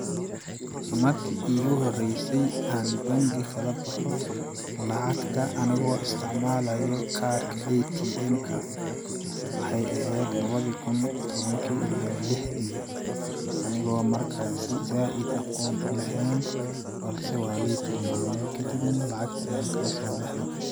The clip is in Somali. Marki iigu horeysay aan bangi kala baxo lacagta anigoo isticmalaayo kaarka ATM ka, waxeey aheed lawadi kun tawankii iyo lixdii , anigoo markasii zaaid aqoon u laheen balse waa lii tIlmamay kadib na lacagta ayaan kalasoo baxay